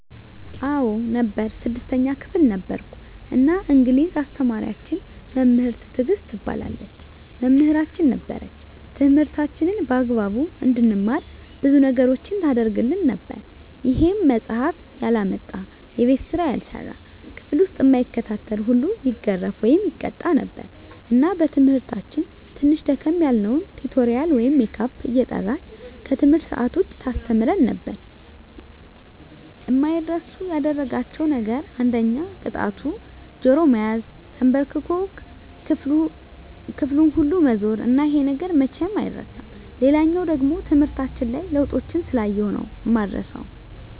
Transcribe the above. አዎ ነበር 6ተኛ ክፍል ነበርኩ እና እንግሊዝ አስተማሪያችን መምህር ትግስት ትባላለች መምህራችን ነበረች ትምህርታችንን በአግባቡ እንድንማር ብዙ ነገሮችን ታረግልን ነበር ይሄም መፃሐፍ ያላመጣ፣ የቤት ስራ ያልሰራ፣ ክፍል ዉስጥ እማይከታተል ሁሉ ይገረፍ( ይቀጣ ) ነበር እና በትምህርታችን ትንሽ ደከም ያልነዉን ቲቶሪያል ወይም ሜካፕ እየጠራች ከትምህርት ሰአት ዉጭ ታስተምረን ነበር። አማይረሱ ያደረጋቸዉ ነገር አንደኛ ቅጣቱ ጆሮ መያዝ፣ ተንበርክኮ ክፍሉን ሁሉ መዞር እና ይሄ ነገር መቼም አይረሳም። ሌላኛዉ ደሞ ትምህርታችን ላይ ለዉጦችን ስላየሁ ነዉ እማረሳዉ።